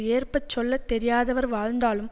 ஏற்ப சொல்ல தெரியாதவர் வாழ்ந்தாலும்